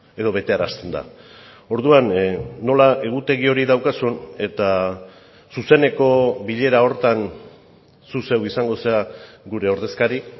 edo betearazten da orduan nola egutegi hori daukazun eta zuzeneko bilera horretan zu zeuk izango zara gure ordezkari